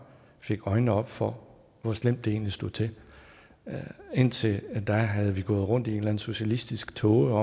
fik øjnene op for hvor slemt det egentlig stod til indtil da havde vi gået rundt i en eller anden socialistisk tåge og